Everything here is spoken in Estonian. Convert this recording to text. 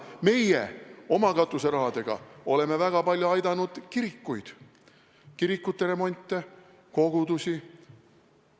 Meie oma katuserahaga oleme väga palju aidanud kirikuid, kirikute remonte, kogudusi.